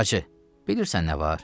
Bacı, bilirsən nə var?